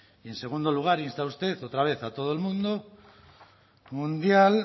y en segundo lugar insta usted otra vez a todo el mundo mundial